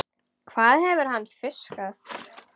Hvað hefur hann fiskað?